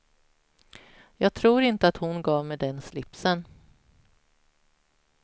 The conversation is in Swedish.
Jag tror inte att hon gav mig den slipsen.